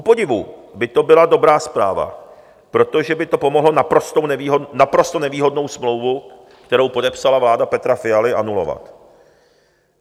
Kupodivu by to byla dobrá zpráva, protože by to pomohlo naprosto nevýhodnou smlouvu, kterou podepsala vláda Petra Fialy, anulovat.